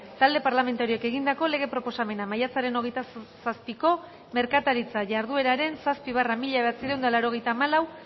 talde parlamentarioek egindako lege proposamena maiatzaren hogeita zazpiko merkataritza jardueraren zazpi barra mila bederatziehun eta laurogeita hamalau